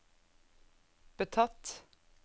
betatt